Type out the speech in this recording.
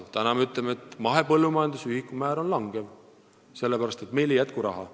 Aga täna me ütleme, et mahepõllumajanduse ühikumäär langeb, sellepärast et meil ei jätku raha.